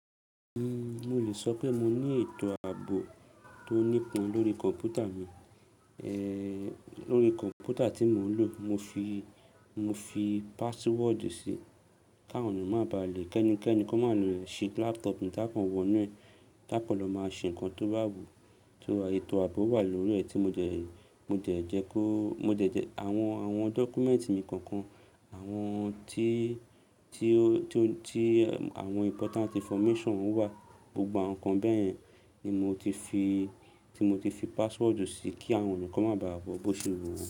Uhm, mo lè sọ pé mo ní ètò àbò tó nípọn lórí kọ̀m̀pútà mi, ẹ̀ẹ̀ lórí i kọ̀m̀pútà tí mò ń lò. Mo fi, mo fi password sí, káwọn ènìyàn má bà lè kẹ́ni-kẹ́ni kó má lè ṣí laptop mi tákàn wọnú ẹ̀, tákàn lọ máa ṣe ǹkan tó bá wù. Tò à, ètò ààbò wà lórí rẹ̀ tí mo dẹ̀ ẹ̀, mo dẹ̀ jẹ́ kó, mo dẹ̀ jẹ́ àwọn, àwọn document mi kọ̀ọ̀kan, àwọn tí, tí ó, tí ó, tí àwọn important information ó wà, gbogbo àwọn nǹkan bẹ́ẹ̀ yẹn ni mo ti fi, tí mo ti fi password sí kí àwọn ènìyàn kán má bà à wọ́ bó ṣe wù wọ́n.